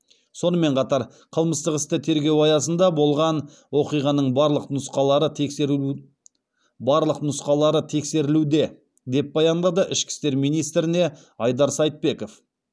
сонымен қатар қылмыстық істі тергеу аясында болған оқиғаның барлық нұсқалары тексерілуде деп баяндады ішкі істер министріне айдар сайтбеков